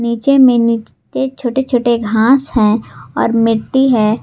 नीचे में नीचे छोटे छोटे घास है और मिट्टी है।